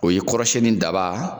O ye kɔrɔsɛn ni daba